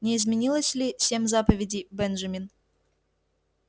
не изменилось ли семь заповедей бенджамин